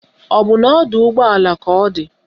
Ọ bụ na ọdọụgbọala ka ọ di?